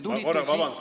Palun vabandust!